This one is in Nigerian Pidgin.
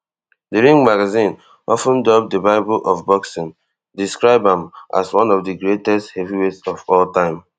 di ring magazine of ten dubbed di bible of boxing describe am as one of di greatest heavyweights of all time